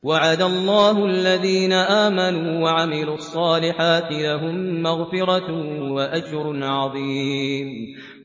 وَعَدَ اللَّهُ الَّذِينَ آمَنُوا وَعَمِلُوا الصَّالِحَاتِ ۙ لَهُم مَّغْفِرَةٌ وَأَجْرٌ عَظِيمٌ